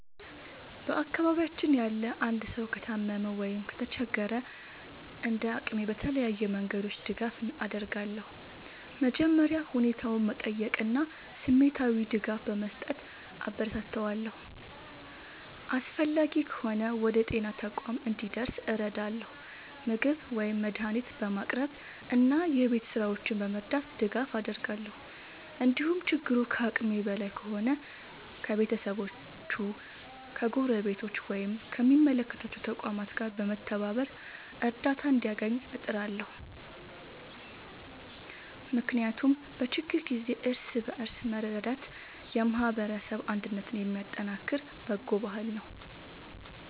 በአካባቢያችን ያለ አንድ ሰው ከታመመ ወይም ከተቸገረ፣ እንደ አቅሜ በተለያዩ መንገዶች ድጋፍ አደርጋለሁ። መጀመሪያ ሁኔታውን በመጠየቅ እና ስሜታዊ ድጋፍ በመስጠት አበረታታዋለሁ። አስፈላጊ ከሆነ ወደ ጤና ተቋም እንዲደርስ እረዳለሁ፣ ምግብ ወይም መድኃኒት በማቅረብ እና የቤት ሥራዎቹን በመርዳት ድጋፍ አደርጋለሁ። እንዲሁም ችግሩ ከአቅሜ በላይ ከሆነ ከቤተሰቦቹ፣ ከጎረቤቶች ወይም ከሚመለከታቸው ተቋማት ጋር በመተባበር እርዳታ እንዲያገኝ እጥራለሁ። ምክንያቱም በችግር ጊዜ እርስ በርስ መረዳዳት የማህበረሰብ አንድነትን የሚያጠናክር በጎ ባህል ነው።